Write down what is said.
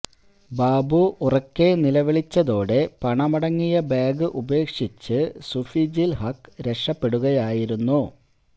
ബാബു ഉറക്കെ നിലവിളിച്ചതോടെ പണമടങ്ങിയ ബാഗ് ഉപേക്ഷിച്ച് സുഫീജുൽ ഹക്ക് രക്ഷപ്പെടുകയായിരുന്നു